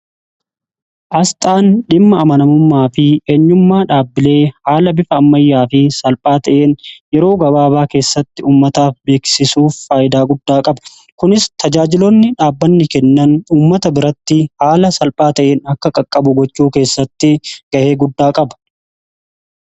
Aasxaan dhimma amanamummaa fi eenyummaa dhaabbilee haala bifa ammayyaa fi salphaa ta'een yeroo gabaabaa keessatti uummataaf beeksisuuf faayidaa guddaa qaba. Kunis tajaajiloonni dhaabbanni kennan uummata biratti haala salphaa ta'een akka qaqqabu gochuu keessatti ga'ee guddaa qaba.